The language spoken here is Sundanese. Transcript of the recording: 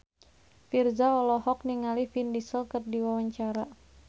Virzha olohok ningali Vin Diesel keur diwawancara